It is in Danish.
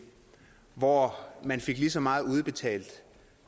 hvor man fik lige så meget udbetalt